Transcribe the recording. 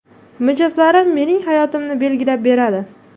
Mijozlarim mening hayotimni belgilab beradi.